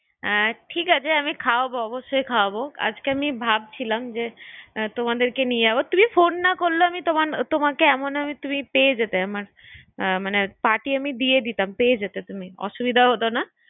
হ্যাঁ, ঠিক আছে আমি অবশ্যই খাওয়াবো আজকে আমি ভাবছিলাম যে তোমাদেরকে নিয়ে যাবো তুমি ফোন না করলেও আমি ~ তোমাকে এমন না তুমি পেয়ে যেতে আমার মনে পার্টি আমি দিয়ে দিতাম, পেয়ে যেতে অসুবিধা হতো না